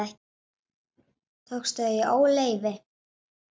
Tókstu þau í óleyfi?